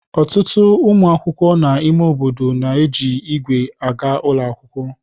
Ọtụtụ ụmụ akwụkwọ na ime obodo na-eji ígwè aga ụlọ akwụkwọ.